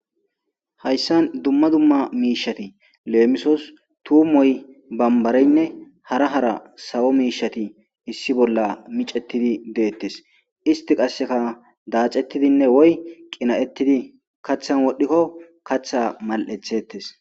hayssan dumma dumma miishati leemisos tuumoy bambareynne hara hara sawo miishati issi bolla micettidi deettes isti qasseka daacettidinne woy qina7ettidi kaththan wodhdhikko katha mal7ethettes